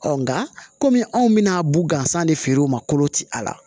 nka komi anw bɛna bu gansan de feere u ma kolo ti a la